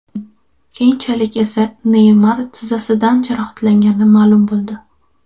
Keyinchalik esa Neymar tizzasidan jarohatlangani ma’lum bo‘ldi.